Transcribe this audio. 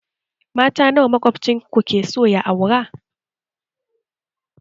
Mata nawa maƙwabcin ku keso ya aura?